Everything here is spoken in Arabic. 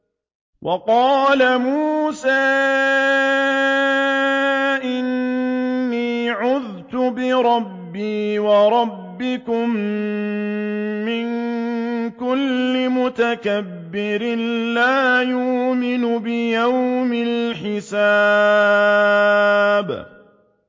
وَقَالَ مُوسَىٰ إِنِّي عُذْتُ بِرَبِّي وَرَبِّكُم مِّن كُلِّ مُتَكَبِّرٍ لَّا يُؤْمِنُ بِيَوْمِ الْحِسَابِ